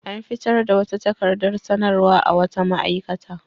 An fitar da wata takaradar sanarwa a wata ma'aikata.